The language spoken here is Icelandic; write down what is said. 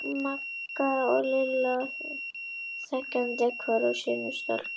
Magga og Lilla þegjandi hvor á sínum stólpanum og dingluðu fótunum.